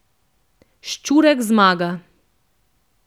Ščurek zmaga.